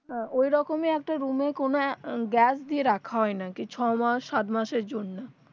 ওই রকমই একটা room এ কোনো গ্যাস দিয়ে রাখা হয় নাকি ছয় বা সাত মাসের জন্য